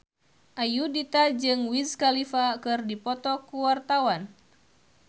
Ayudhita jeung Wiz Khalifa keur dipoto ku wartawan